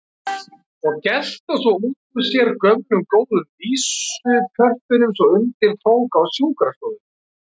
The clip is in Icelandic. Og gelta svo út úr sér gömlu góðu vísupörtunum svo undir tók á sjúkrastofunni.